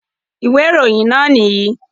Ìwé ìròyìn náà nìyí.